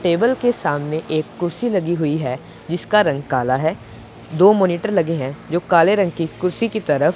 table के सामने एक कुर्सी लगी हुई है जिसका रंग काला है दो मॉनिटर लगे है जो काले रंग की कुर्सी की तरफ --